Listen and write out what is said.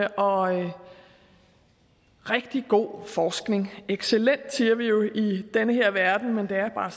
og rigtig god forskning excellent siger vi jo i den her verden men det er bare